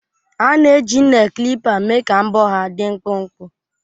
A na-eji Nel klipa mee ka mbọ ha dị mkpụmkpụ